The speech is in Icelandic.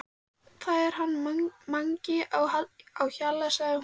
Það er hann Mangi á Hjalla sagði hún.